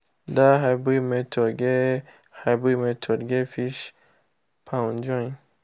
that hybrid method get hybrid method get fish pond join.